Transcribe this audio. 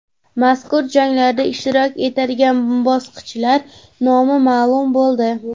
Mazkur janglarda ishtirok etadigan bokschilar nomi ma’lum bo‘ldi .